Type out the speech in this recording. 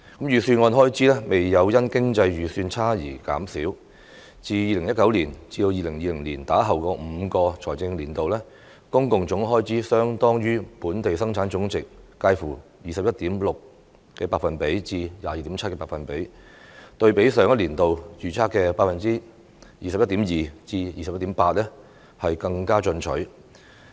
預算案開支未有因經濟預期差而減少，自 2019-2020 年度以後的5個財政年度，公共總開支預計相當於本地生產總值介乎 21.6% 至 22.7%， 對比上一年度預測的 21.2% 至 21.8% 更為進取。